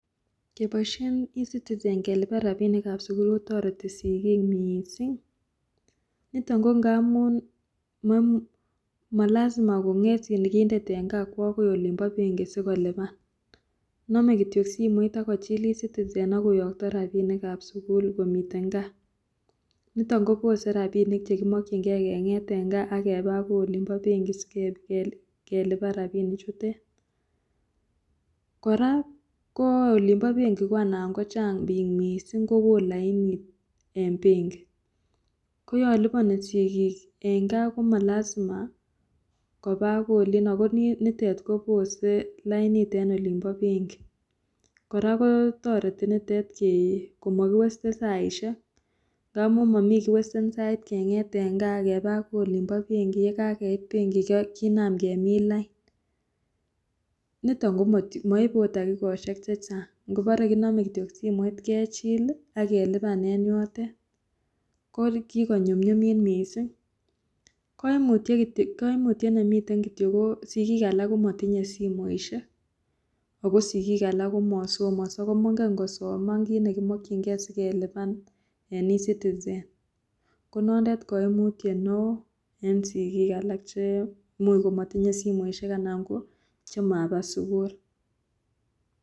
Keboishen ecitizen kelipan rapinikab sikul kotoreti sikik miising, niton ko ngamun malasima konget sikindet en kaa kwo olimpo benki sikolipan nome kityok simoit akochil ecitizen akoyokto rapinikab sikul kong'eten kaa nito kopose rapinik chekimokyingee keng'et en kaa ako olimpo benki sikelipan rapinichutet, kora ko olimpo benki ko anan kochang' biik mising kowo lainit en benki koyon lipani sikik en kaa komalasima kopaa akoi olino konitet kopose lainit en olipo benki, kora kotoreti nitet komokiwasten saisiek ngamu momii kiwasten sai keng'et en kaa akepaa akoi olimpo benki yekakeit benki kinam kemin lain nito komoipe takikosiek chechang ngobore kinome kityok simoit kechil akelipan en yotet, ko kikonyumnyumit mising koimutiet nemiten kityok ko sikik alak komotinye simoisiek ako sikik alak komosomoso ko mongen kosoma kit nekimokyinge sikelipan en ecitizen konoto koimutiet neo en sikik alak imuch komotinye simoisiek anan ko chemapa sukul.